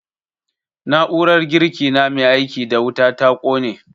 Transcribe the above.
Na'urar girki na mai aiki da wuta ta ƙone